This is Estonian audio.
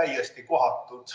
täiesti kohatud.